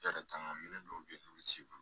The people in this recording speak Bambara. E yɛrɛ kan ka minɛn dɔw be ye n'olu t'i bolo